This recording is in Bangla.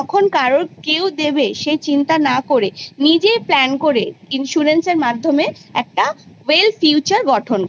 টাকা কে দেবে সে চিন্তা না করে নিজে plan? করে insurance? এর মাধ্যমে একটা well? future? গঠন করা